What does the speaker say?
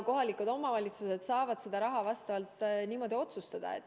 Kohalikud omavalitsused saavad selle raha kasutamise üle niimoodi otsustada.